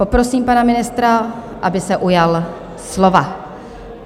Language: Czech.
Poprosím pana ministra, aby se ujal slova.